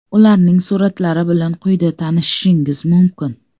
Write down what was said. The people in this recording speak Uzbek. Ularning suratlari bilan quyida tanishishingiz mumkin.